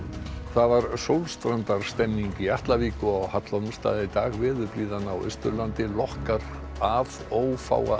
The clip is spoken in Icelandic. það var sólstrandarstemning í Atlavík og á Hallormsstað í dag veðurblíðan á Austurlandi lokkar að ófáa